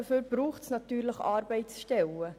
Dazu braucht es natürlich Arbeitsstellen.